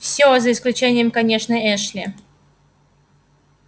все за исключением конечно эшли